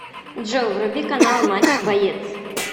джой вруби канал матч боец